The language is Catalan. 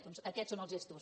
doncs aquests són els gestos